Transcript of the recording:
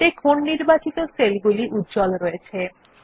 দেখুন নির্বাচিত সেলগুলি উজ্জ্বল রয়েছে